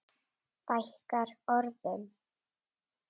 Fækkar orðum?